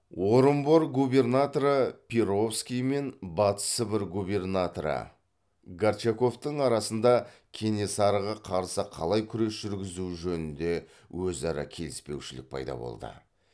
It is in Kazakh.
орынбор губернаторы перовский мен батыс сібір губернаторы горчаковтың арасында кенесарыға қарсы қалай күрес жүргізу жөнінде өзара келіспеушілік пайда болды